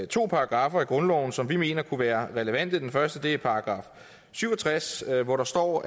to paragraffer i grundloven som vi mener kunne være relevante den første er § syv og tres hvor der står